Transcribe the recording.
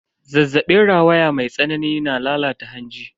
Zazzabin rawaya mai tsanani na lalata hanji.